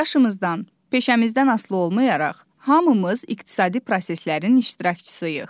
Yaşımızdan, peşəmizdən asılı olmayaraq, hamımız iqtisadi proseslərin iştirakçısıyıq.